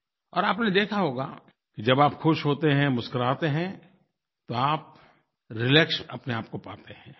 और आपने देखा होगा कि जब आप खुश होते हैं मुस्कुराते हैं तो आप रिलैक्स अपनेआप को पाते हैं